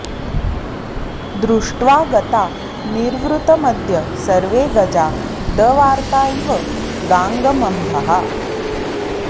दृष्ट्वा गता निर्वृतमद्य सर्वे गजा दवार्ता इव गाङ्गमम्भः